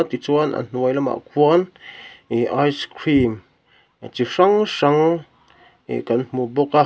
tichuan a hnuai lamah khuan ihh ice cream chi hrang hrang ihh kan hmu bawk a.